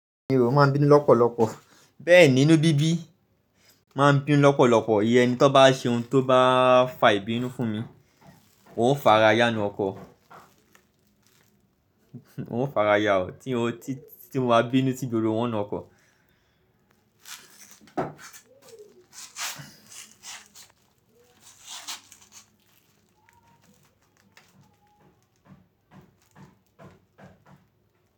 Mí ó máa ń bínú lọ́pọ̀lọpọ̀. Bẹ́ẹ̀ ni, inú bíbí máa ń bínú lọ́pọ̀lọpọ̀. Ìyẹn ni tó bá ṣe ohun tó bá fa ìbínú fún mi, ó farayá nu ọkọ. Ó fara ya o. Tí n o, tí mo bá bínú sí gbogbo wọn nu ọkọ.